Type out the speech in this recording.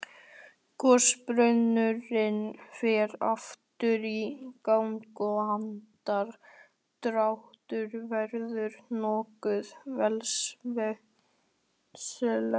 Gosbrunnurinn fer aftur í gang og andardrátturinn verður nokkuð villisvínslegur.